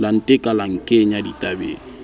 la nteka la nkenya ditabeng